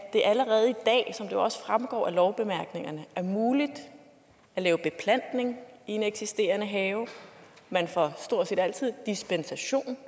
at det allerede i dag som det jo også fremgår af lovbemærkningerne er muligt at lave beplantning i en eksisterende have man får stort set altid dispensation